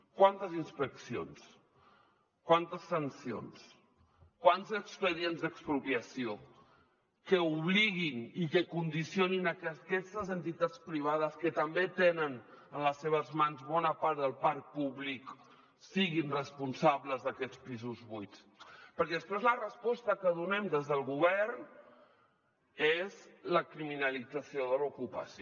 quantes inspeccions quantes sancions quants expedients d’expropiació que obliguin i que condicionin a que aquestes entitats privades que també tenen en les seves mans bona part del parc públic siguin responsables d’aquests pisos buits perquè després la resposta que donem des del govern és la criminalització de l’ocupació